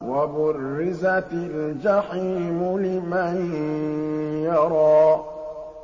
وَبُرِّزَتِ الْجَحِيمُ لِمَن يَرَىٰ